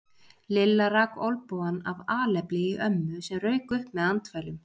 Lilla rak olnbogann af alefli í ömmu sem rauk upp með andfælum.